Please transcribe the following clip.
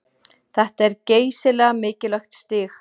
Þetta er geysilega mikilvægt stig